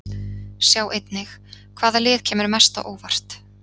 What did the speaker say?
Sjá einnig: Hvaða lið kemur mest á óvart?